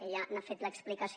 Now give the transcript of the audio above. ella n’ha fet l’explicació